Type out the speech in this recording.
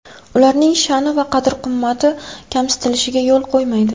Ularning sha’ni va qadr-qimmati kamsitilishiga yo‘l qo‘ymaydi.